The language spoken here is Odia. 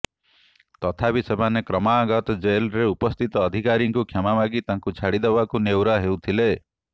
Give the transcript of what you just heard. ତଥାପି ସେମାନେ କ୍ରମାଗତ ଜେଲ୍ରେ ଉପସ୍ଥିତ ଅଧିକାରୀଙ୍କୁ କ୍ଷମା ମାଗି ତାଙ୍କୁ ଛାଡି ଦେବାକୁ ନେହୁରା ହେଉଥିଲେ